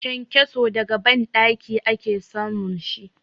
Kenkeso daga banɗaki ake samun shi.